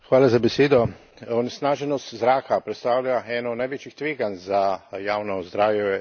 Onesnaženost zraka predstavlja eno največjih tveganj za javno zdravje v Evropi.